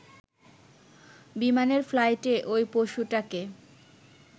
বিমানের ফ্লাইটে ওই পশুটাকে